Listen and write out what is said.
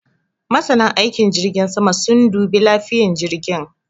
Masanan aikin jirgin sama sun dubi lafiyan jirgin